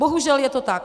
Bohužel je to tak.